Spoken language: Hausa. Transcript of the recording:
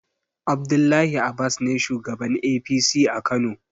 Abdullahi abas ne shugaban APC a kano